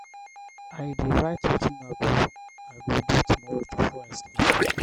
i dey write wetin i go i go do tomorrow before i sleep.